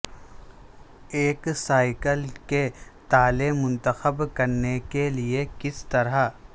ایک سائیکل کے تالے منتخب کرنے کے لئے کس طرح